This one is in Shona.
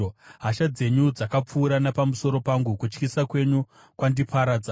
Hasha dzenyu dzakapfuura napamusoro pangu; kutyisa kwenyu kwandiparadza.